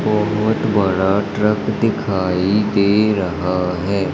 बोहोत बड़ा ट्रक दिखाई दे रहा है।